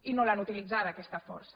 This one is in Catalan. i no l’han utilitzada aquesta força